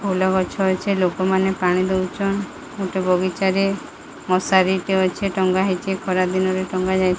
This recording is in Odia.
ଫୁଲଗଛ ଅଛି ଲୋକମାନେ ପାଣି ଦେଉଚନ ଗୋଟେ ବଗିଚାରେ ମଶାରୀଟେ ଅଛି ଟଙ୍ଗା ହେଇଚି ଖରା ଦିନରେ ଟଙ୍ଗା ଯାଇଚି।